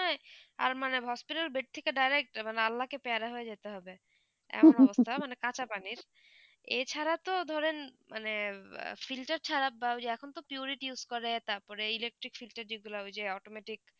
আর মানে বস্তরে বেড থেকে দাদা আল্লাহ কে প্যারা হতে যেতে হবে এমন অভ্যস্ত মানে কাঁচা পানি এই ছাড়া তো ধরেন মানে ফিল্টার ছাড়া বা আখন তো পাইরিটি purit use তার পরে electric filter দিয়ে গলা হয়ে যে automatic